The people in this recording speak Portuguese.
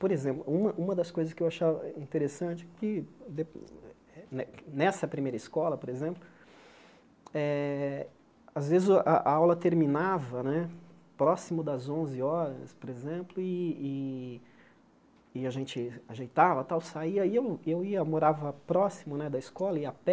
Por exemplo, uma uma das coisas que eu achava interessante que de, nessa primeira escola, por exemplo, às vezes a a aula terminava né próximo das onze horas, por exemplo, e e e a gente ajeitava tal, saía, e eu eu ia morava próximo né da escola, ia a pé,